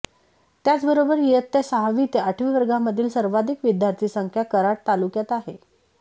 त्याचबरोबर इयत्ता सहावी ते आठवी वर्गांमधील सर्वाधिक विद्यार्थी संख्या कराड तालुक्यात आहे